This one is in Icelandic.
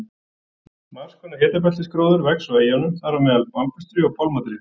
Margskonar hitabeltisgróður vex á eyjunum þar á meðal bambustré og pálmatré.